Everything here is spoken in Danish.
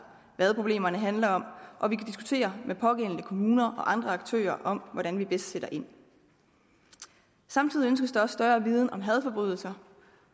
hvad problemerne handler om og vi kan diskutere med pågældende kommuner og andre aktører om hvordan vi bedst sætter ind samtidig ønskes der også større viden om hadforbrydelser